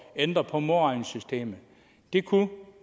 ændret på modregningssystemet det kunne